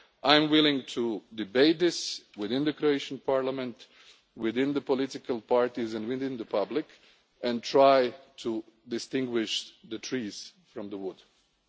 substance. I am willing to debate this within the Croatian Parliament, within the political parties and with the public, and try to distinguish the wood from